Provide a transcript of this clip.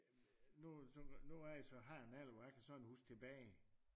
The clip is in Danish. Nu øh hvor jeg så har en alder hvor jeg kan huske tilbage